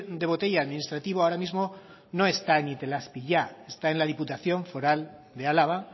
de botella administrativo ahora mismo no está en itelazpi ya está en la diputación foral de álava